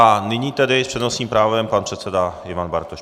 A nyní tedy s přednostním právem pan předseda Ivan Bartoš.